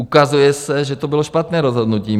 Ukazuje se, že to bylo špatné rozhodnutí.